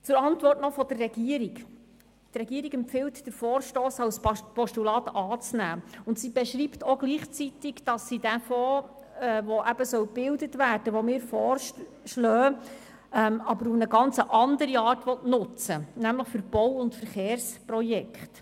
Zur Antwort der Regierung: Die Regierung empfiehlt, den Vorstoss als Postulat anzunehmen und beschreibt gleichzeitig, dass sie den Fonds, der gebildet werden soll, den wir vorschlagen, auf eine ganz andere Art nutzen will: nämlich für Bau- und Verkehrsprojekte.